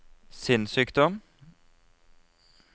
sinnssykdom